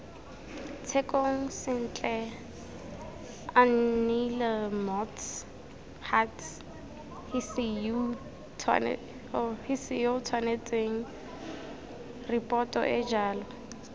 tshekong sentle aneelemots huts hisiyootshwanetsengripotoeejalo